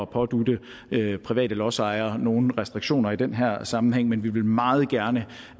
pådutte private lodsejere nogen restriktioner i den her sammenhæng men vi vil meget gerne